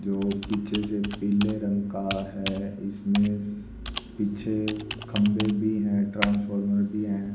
जो पीछे से पीले रंग का है इसमें पीछे खंबे भी है ट्रांसफॉर्मर भी हैं।